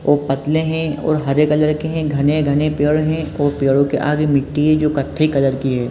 और पतले है और हरे कलर के है घने-घने पेड़ है और पेड़ो के आगे मिट्टी है जो कट्ठे कलर की हैं।